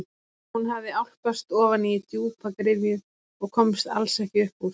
Hún hafði álpast ofan í djúpa gryfju og komst alls ekki upp úr.